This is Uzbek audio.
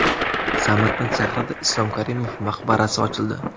Samarqand shahrida Islom Karimov maqbarasi ochildi.